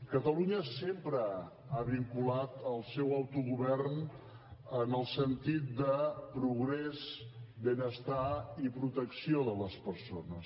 catalunya sempre ha vinculat el seu autogovern en el sentit de progrés benestar i protecció de les persones